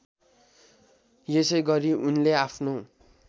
यसैगरी उनले आफ्नो